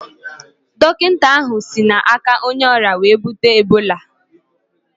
Dọkịta ahụ si na aka onye ọrịa wee bute Ebola